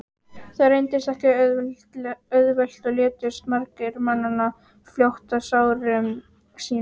það reyndist ekki auðvelt og létust margir mannanna fljótt af sárum sínum